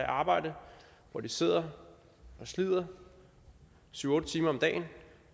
arbejde hvor de slider slider syv otte timer om dagen